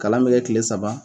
Kalan mi kɛ kile saba